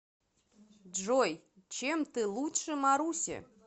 джой чем ты лучше маруси